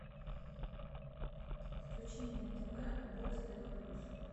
включи мне на тв бокс тв плюс